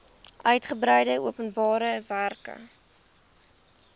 uigebreide openbare werke